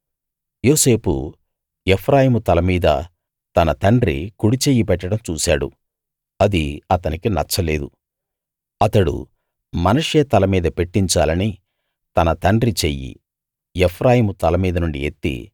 యోసేపు ఎఫ్రాయిము తల మీద తన తండ్రి కుడిచెయ్యి పెట్టడం చూశాడు అది అతనికి నచ్చలేదు అతడు మనష్షే తల మీద పెట్టించాలని తన తండ్రి చెయ్యి ఎఫ్రాయిము తలమీద నుండి ఎత్తి